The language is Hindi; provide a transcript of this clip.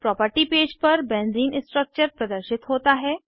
प्रॉपर्टी पेज पर बेंज़ीन स्ट्रक्चर प्रदर्शित होता है